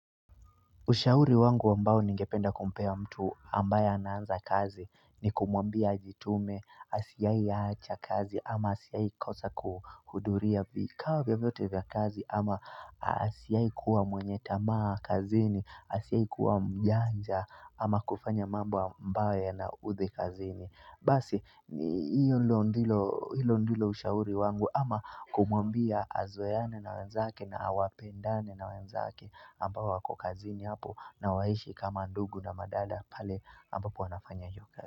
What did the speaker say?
Ushauri wangu ambao ningependa kumpea mtu ambaye anaanza kazi ni kumwambia ajitume asiai yacha kazi ama asiai kosa kuhuduria vikawa vyovyote vya kazi ama asiai kuwa mwenye tamaa kazini asiai kuwa mjanja ama kufanya mambo amba yanaudhikazini. Basi, ni hilo ndilo ushauri wangu ama kumwambia azoeane na wenzake na wapendane na wenzake ambao wako kazini hapo na waishi kama ndugu na madada pale ambapo wanafanya hio kazi.